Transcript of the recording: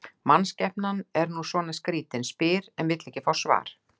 Mannskepnan er nú svona skrýtin, spyr en vill ekki fá svar.